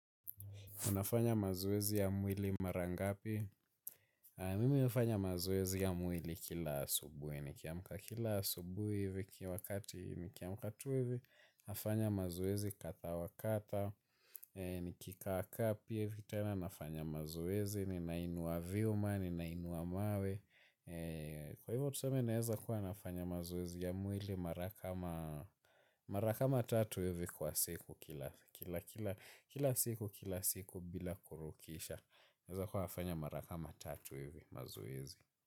Unafanya mazoezi ya mwili mara ngapi? Mimi ninafanya mazoezi ya mwili kila asubuhi nikiamka. Kila asubuhi hivi kila wakati nikiamka tu hivi. Nafanya mazoezi kadha wa kadha. Nikikaa kaa hivi tena nafanya mazoezi. Ninainuwa vyuma, ninainuwa mawe. Kwa hivyo tuseme naeza kuwa nafanya mazoezi ya mwili mara kama. Mara kama tatu hivi kwa siku kila kila siku kila siku bila kurukisha. Naezakuwa nafanya mara kama tatu hivi mazoezi.